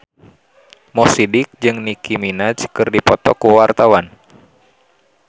Mo Sidik jeung Nicky Minaj keur dipoto ku wartawan